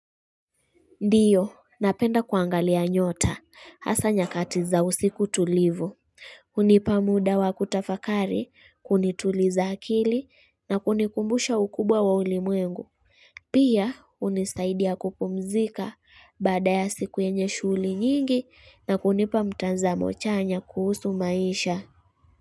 Ndio, napenda kuangalia nyota, hasa nyakati za usiku tulivu, unipa muda wa kutafakari, kunituliza akili na kunikumbusha ukubwa wa ulimwengu, pia unisaidia kupumzika baada ya siku yenye shughuli nyingi na kunipa mtanzamo chanya kuhusu maisha.